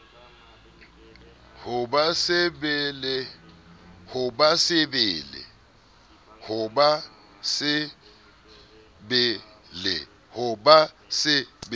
ho ba se be le